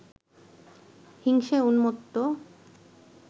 হিংসায় উন্মত্ত